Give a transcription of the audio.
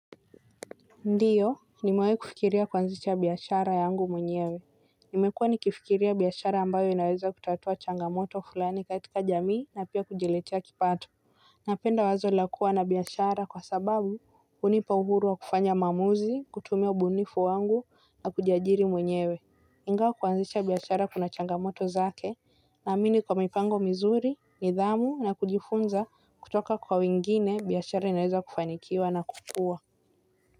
Ndiyo nimewahi kufikiria kuanzisha biashara yangu mwenyewe nimekuwa ni kifikiria biashara ambayo inaweza kutatua changamoto fulani kaitika jamii na pia kujiletia kipato. Napenda wazo la kua na biashara kwa sababu hunipa uhuru wa kufanya maamuzi kutumia ubunifu wangu na kujiajiri mwenyewe. Ingawa kuanzisha biashara kuna changamoto zake naamini kwa mipango mizuri nidhamu na kujifunza kutoka kwa wengine biashara inaweza kufanikiwa na kukua.